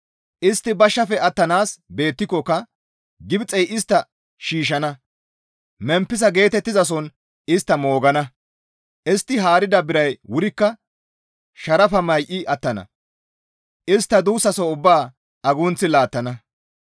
Istti bashshafe attanaas betikkoka Gibxey istta shiishshana; Memppisa geetettizason istta moogana; istti haarida biray wurikka sharafa may7i attana; istta duussaso ubbaa agunththi laattana.